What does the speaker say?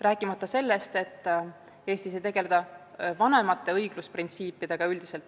Rääkimata sellest, et Eestis ei tegelda palju vanemate õiglusprintsiipidega.